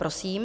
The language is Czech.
Prosím.